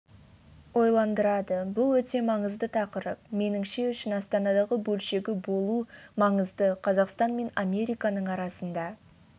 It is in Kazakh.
ойландырады бұл өте маңызды тақырып меніңше үшін астанадағы бөлшегі болу маңызды қазақстан мен американың арасында